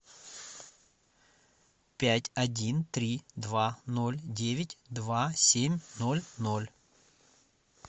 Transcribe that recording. пять один три два ноль девять два семь ноль ноль